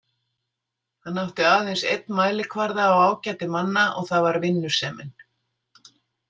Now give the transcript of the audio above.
Hann átti aðeins einn mælikvarða á ágæti manna og það var vinnusemin.